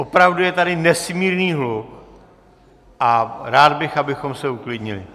Opravdu je tady nesmírný hluk a rád bych, abychom se uklidnili.